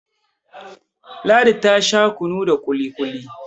Ladi ta Sha kunu da kili-kuli